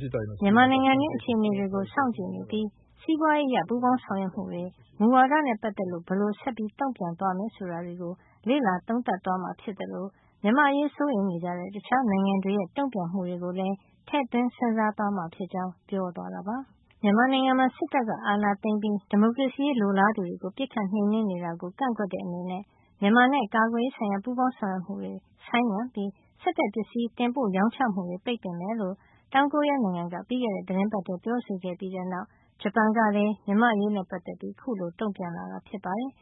“မြန်မာနိုင်ငံတွင်းက အခြေအနေတွေကို စောင့်ကြည့်နေပြီး စီးပွားရေးအရ ပူးပေါင်းဆောင်ရွက်မှုတွေ၊ မူဝါဒတွေနဲ့ ပတ်သက်လို့ ဘယ်လိုဆက်ပြီး တုံ့ပြန်သွားမလဲ ဆိုတာကို လေ့လာ သုံးသပ်သွားမှာ ဖြစ်သလို မြန်မာ့အရေး စိုးရိမ်နေကြတဲ့ တခြား နိုင်ငံတွေရဲ့ တုံ့ပြန်မှုတွေကိုလည်း ထည့်သွင်း စဉ်းစားသွားမှာ ဖြစ်ကြောင်း" ပြောသွားတာပါ။ မြန်မာနိုင်ငံမှာ စစ်တပ်က အာဏာသိမ်းပြီး ဒီမိုကရေစီရေး လိုလားသူတွေကို ပစ်ခတ်နှိမ်နင်းနေတာကို ကန့်ကွက်တဲ့အနေနဲ့ မြန်မာနဲ့ ကာကွယ်ရေးဆိုင်ရာ ပူးပေါင်း ဆောင်ရွက်မှုတွေ ဆိုင်းငံ့ပြီး စစ်ဘက်ပစ္စည်း တင်ပို့ရောင်းချမှုတွေ ပိတ်ပင်မယ်လို့ တောင်ကိုရီးယား နိုင်ငံက ပြီးခဲ့တဲ့သီတင်းပတ်ထဲ ပြောဆိုခဲ့ပြီးတဲ့နောက် ဂျပန်နိုင်ငံကလည်း မြန်မာ့အရေးနဲ့ပတ်သက်ပြီး အခုလို တုံ့ပြန်လာတာ ဖြစ်ပါတယ်